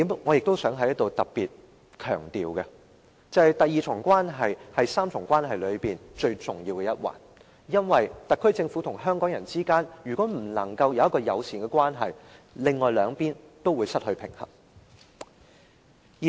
我想在此特別強調一點，就是第二重關係是這3重關係中最重要的一環，如果特區政府與香港人之間不能維持友善的關係，另外兩邊亦會失去平衡。